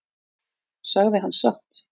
Sagði hann satt?